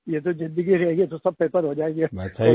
ये तो ज़िंदगी रहेगी तो सब पेपर हो जायेंगे